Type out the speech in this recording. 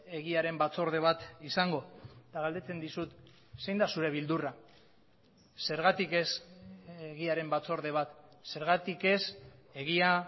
egiaren batzorde bat izango eta galdetzen dizut zein da zure beldurra zergatik ez egiaren batzorde bat zergatik ez egia